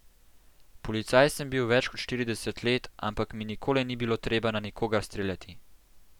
Policaj sem bil več kot štirideset let, ampak mi nikoli ni bilo treba na nikogar streljati.